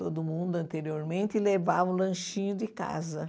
Todo mundo anteriormente levava o lanchinho de casa.